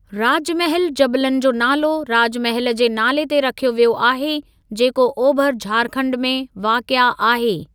राजमहिल जबलनि जो नालो राजमहल जे नाले ते रखियो वियो आहे, जेको ओभर झारखंड में वाक़िआ आहे।